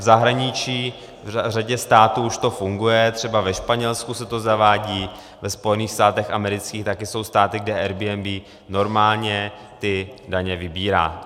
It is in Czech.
V zahraničí v řadě států už to funguje, třeba ve Španělsku se to zavádí, ve Spojených státech amerických, taky jsou státy, kde Airbnb normálně ty daně vybírá.